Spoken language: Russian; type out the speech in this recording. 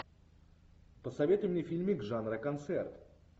посоветуй мне фильмик жанра концерт